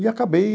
E acabei...